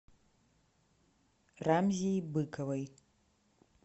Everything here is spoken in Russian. рамзии быковой